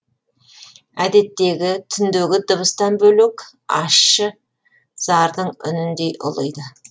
әдеттегі түндегі дыбыстан бөлек ащы зардың үніндей ұлиды